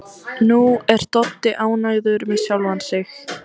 Nú er Doddi ánægður með sjálfan sig.